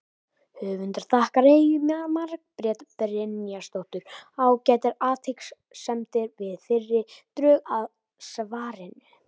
Höfundur þakkar Eyju Margréti Brynjarsdóttur ágætar athugasemdir við fyrri drög að svarinu.